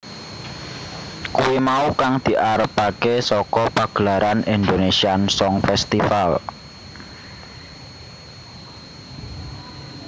Kuwi mau kang diarepaké saka pagelaran Indonésian Song Festival